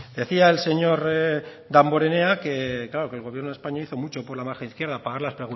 decía el señor damborenea que claro que el gobierno de españa hizo mucho por la margen izquierda pagar las